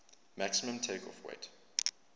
maximum takeoff weight